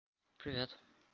привет